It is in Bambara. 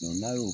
N'a y'o